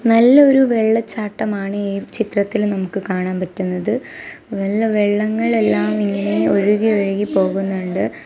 നല്ല ഒരു വെള്ള ചാട്ടമാണ് ഈ ചിത്രത്തില് നമുക്ക് കാണാൻ പറ്റുന്നത് നല്ല വെള്ളങ്ങളെല്ലാം ഇങ്ങനെ ഒഴുകി ഒഴുകി പോകുന്നുണ്ട്--